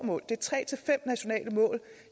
mål det er tre til fem nationale mål